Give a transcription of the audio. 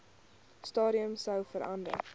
stadium sou verander